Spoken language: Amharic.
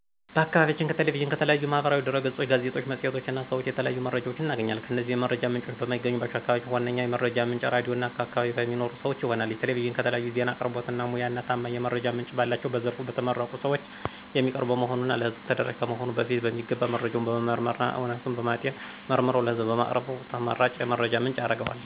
በአከባቢያችን ከ ቴሌቪዥን፣ ከተለያዩ ማህበራዊ ድህረገጾች፣ ጋዜጣዎች፣ መፅሔቶች እና ሰዎች የተለያዩ መረጃዎች እናገኛለን። እነዚህ የመረጃ ምንጮች በማይገኙባቸው አከባቢዎች ዋነኛ የመረጃ ምንጭ ራድዮ እና በአከባቢ ከሚኖሩ ሰወች ይሆናል። ቴሌቪዥን ከተለያዩ ዜና አቅርቦት ሙያ እና ታማኝ የመረጃ ምንጭ ባላቸው በዘርፉ በተመረቁ ሰወች የሚቀርብ በመሆኑ እና ለህዝቡ ተደራሽ ከመሆኑ በፊት በሚገባ መረጃውን በመመርመር እና እውነታዊነቱን በማጤን መርምረው ለህዝቡ በማቅረባቸው ተመራጭ የመረጃ ምንጭ ያረገዋል።